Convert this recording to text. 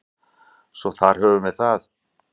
Svo þar höfum við það.